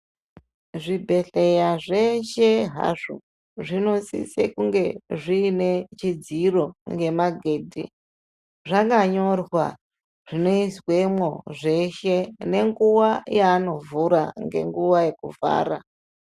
Zvibhehleya zveshe hazvo zvinosise kunge zviine chidziro ngemagedhe zvakanyorwa zvinoizwemo zveshe nenguwa yanovhura ngenguwa yekuvhara.